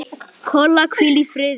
Kolla, hvíl í friði.